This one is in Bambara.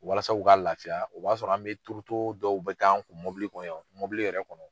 Walasa u ka lafiya, o b'a sɔrɔ an be turuto dɔw bɛ k'an kun, mɔbili kɔnɔ mɔbili yɛrɛ kɔnɔ.